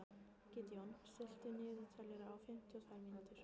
Gídeon, stilltu niðurteljara á fimmtíu og tvær mínútur.